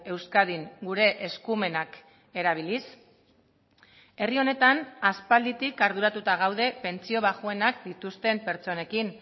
euskadin gure eskumenak erabiliz herri honetan aspalditik arduratuta gaude pentsio baxuenak dituzten pertsonekin